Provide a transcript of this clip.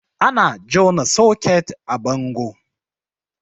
Ana jona soket a bango